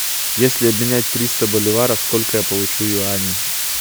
если обменять триста боливаров сколько я получу юаней